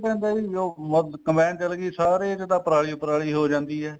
ਪੈਂਦਾ ਜੀ ਜਦੋਂ ਕਮ੍ਬਾਈਨ ਚਲ੍ਗੀ ਸਾਰੇ ਚ ਤਾਂ ਪਰਾਲੀ ਪਰਾਲੀ ਹੋ ਜਾਂਦੀ ਹੈ